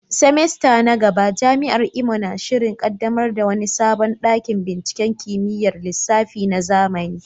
semester na gaba, Jami’ar Imo na shirin kaddamar da wani sabon dakin binciken kimiyyar lissafi na zamani.